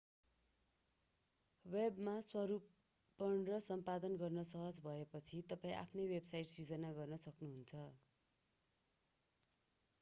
वेबमा स्वरूपण र सम्पादन गर्न सहज भएपछि तपाईं आफ्नै वेबसाइट सिर्जना गर्न सक्नुहुन्छ